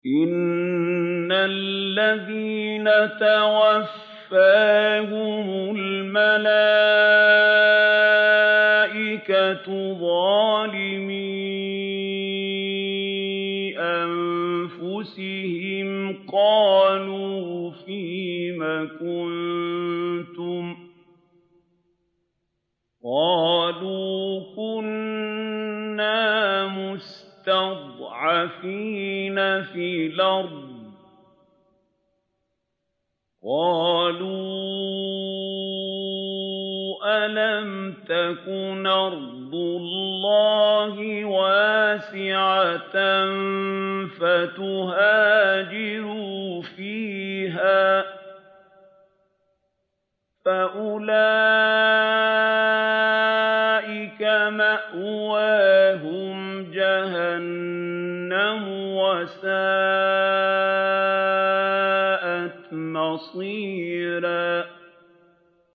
إِنَّ الَّذِينَ تَوَفَّاهُمُ الْمَلَائِكَةُ ظَالِمِي أَنفُسِهِمْ قَالُوا فِيمَ كُنتُمْ ۖ قَالُوا كُنَّا مُسْتَضْعَفِينَ فِي الْأَرْضِ ۚ قَالُوا أَلَمْ تَكُنْ أَرْضُ اللَّهِ وَاسِعَةً فَتُهَاجِرُوا فِيهَا ۚ فَأُولَٰئِكَ مَأْوَاهُمْ جَهَنَّمُ ۖ وَسَاءَتْ مَصِيرًا